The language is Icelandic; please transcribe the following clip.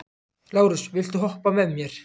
Lárus, viltu hoppa með mér?